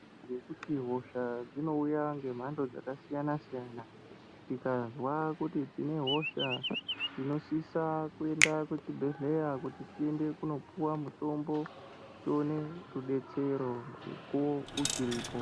⁵Ngekuti hosha dzinouya ngemhando dzakasiyana-siyana, tikazwa kuti tine hosha, tinosisa kuenda kuchibhedhleya kuti tiende kunopuwa mutombo, tione rudetsero mukuwo uchiripo.